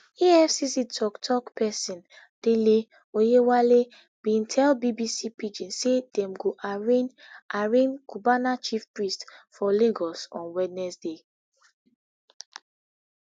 efcc toktok pesin dele oyewale bin tell bbc pidgin say dem go arraign arraign cubana chief priest for lagos on wednesday